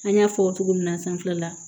An y'a fɔ cogo min na sanfɛla